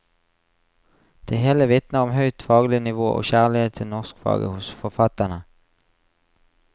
Det hele vitner om høyt faglig nivå og kjærlighet til norskfaget hos forfatterne.